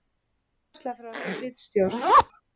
Uppfærsla frá ritstjórn: